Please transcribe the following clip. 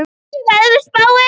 Veig, hvernig er veðurspáin?